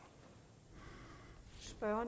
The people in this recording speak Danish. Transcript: ej